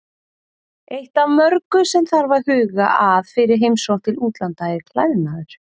Eitt af mörgu sem þarf að huga að fyrir heimsókn til útlanda er klæðnaður.